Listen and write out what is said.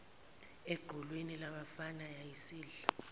equlwini labafana yayisidla